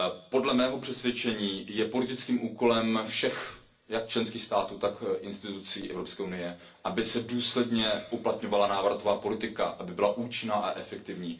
Podle mého přesvědčení je politickým úkolem všech, jak členských států, tak institucí Evropské unie, aby se důsledně uplatňovala návratová politika, aby byla účinná a efektivní.